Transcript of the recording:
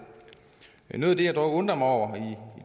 noget af det jeg dog undrer mig over